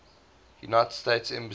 united states embassy